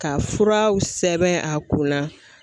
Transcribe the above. Ka furaw sɛbɛn a kunna.